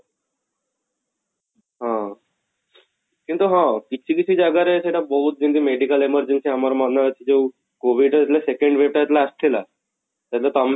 ହଁ, କିନ୍ତୁ ହଁ କିଛି କିଛି ଜାଗାରେ ସେଟା ବହୁତ ଯେମିତି medical emergency ଆମର ମନେ ଜଉ COVID ହେଇଥିଲା second wave ଟା ଯେତେବେଳେ ଆସିଥିଲା, ସେଇଟା ତମେ ବି ଜାଣିଛ